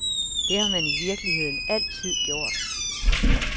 Det har man i virkeligheden altid gjort.